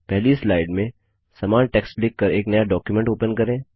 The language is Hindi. पहली स्लाइड में समान टेक्स्ट लिखकर एक नया डॉक्युमेंट ओपन करें